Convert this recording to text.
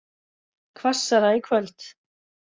Hvassara í kvöld